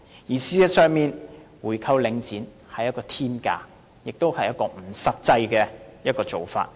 事實上，購回領展所需的是天價，也是不實際的做法。